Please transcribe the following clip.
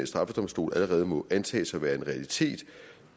straffedomstol allerede må antages at være en realitet